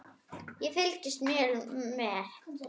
Ég fylgist mjög vel með.